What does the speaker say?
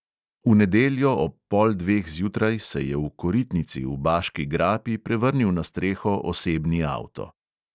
V nedeljo ob pol dveh zjutraj se je v koritnici v baški grapi prevrnil na streho osebni avto.